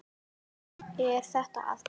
Er þetta að byrja?